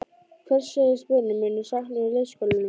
Hvers segjast börnin munu sakna úr leikskólanum?